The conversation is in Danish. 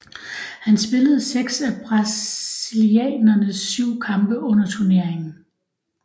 Han spillede seks af brasilianernes syv kampe under turneringen